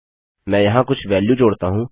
मैं यहाँ कुछ वेल्यू जोड़ता हूँ